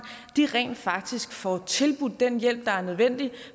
rent faktisk får tilbudt den hjælp der er nødvendig